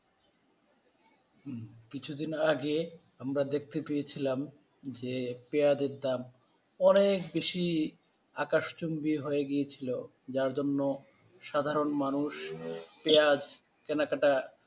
হুম কিছুদিন আগে আমরা দেখতে পেয়েছিলাম যে পেঁয়াজের দাম অনেক বেশি আকাশচুম্বি হয়ে গিয়েছিল যার জন্য সাধারণ মানুষ পেঁয়াজ কেনাকাটা